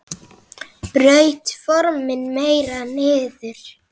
Braut formin meira niður.